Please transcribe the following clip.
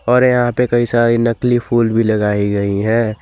और यहां पे कई सारी नकली फूल भी लगाई गई हैं।